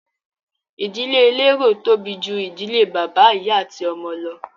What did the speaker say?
Ìdílé elérò tóbi ju ìdílé bàbá, ìyá ati ọmọ lọ.